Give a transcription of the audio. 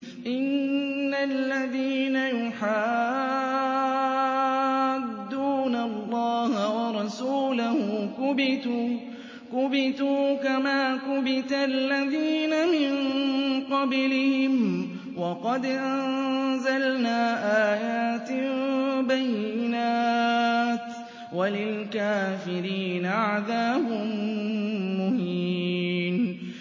إِنَّ الَّذِينَ يُحَادُّونَ اللَّهَ وَرَسُولَهُ كُبِتُوا كَمَا كُبِتَ الَّذِينَ مِن قَبْلِهِمْ ۚ وَقَدْ أَنزَلْنَا آيَاتٍ بَيِّنَاتٍ ۚ وَلِلْكَافِرِينَ عَذَابٌ مُّهِينٌ